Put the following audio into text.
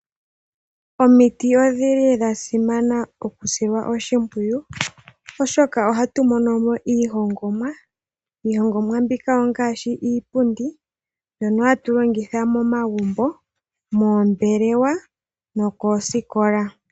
Omiti odhili dha simana okusilwa oshimpwiyu Oshoka ohatu monomo iihongomwa. Iihongomwa mbika ongaashi iipundi mbyono hatu longitha momagumbo , moombelewa nokoosikola.